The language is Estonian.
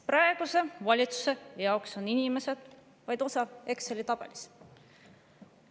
Praeguse valitsuse jaoks on inimesed vaid osa Exceli tabelist.